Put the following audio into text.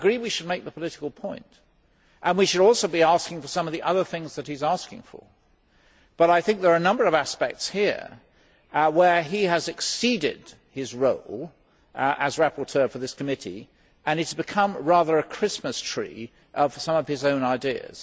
I agree we should make the political point and we should also be asking for some of the other things that he is asking for, but I think there are a number of aspects here where he has exceeded his role as rapporteur for this committee and it has become rather a Christmas tree of some of his own ideas.